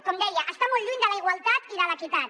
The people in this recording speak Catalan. com deia està molt lluny de la igualtat i de l’equitat